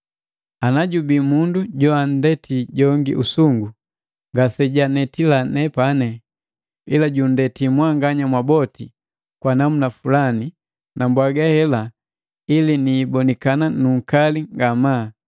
Ana jubii mundu joandeti jongi usungu, ngasejanetila nepani, ila junndeti mwanganya mwaboti kwa namuna fulani, na mbwaga hela ili niibonikana nunkali ngamaa.